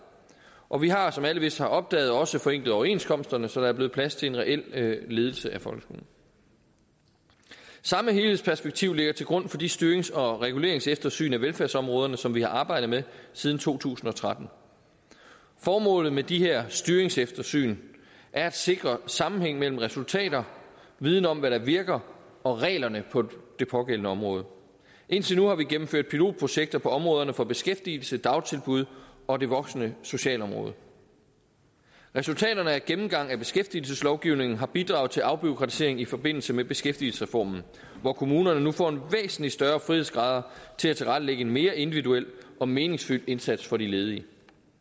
og vi har som alle vist har opdaget også forenklet overenskomsterne så der er blevet plads til en reel ledelse af folkeskolen samme helhedsperspektiv ligger til grund for de styrings og reguleringseftersyn af velfærdsområderne som vi har arbejdet med siden to tusind og tretten formålet med de her styringseftersyn er at sikre sammenhæng mellem resultater viden om hvad der virker og reglerne på det pågældende område indtil nu har vi gennemført pilotprojekter på områderne for beskæftigelse dagtilbud og det voksne socialområde resultaterne af gennemgangen af beskæftigelseslovgivningen har bidraget til afbureaukratisering i forbindelse med beskæftigelsesreformen hvor kommunerne nu får væsentlig større frihedsgrader til at tilrettelægge en mere individuel og meningsfyldt indsats for de ledige